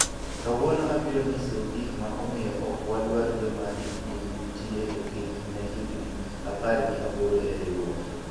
kawuono abiro nyisou gik ma omiyo ok wadwar joma hikgi nitie piny ne higni apar gi aboro e riwruok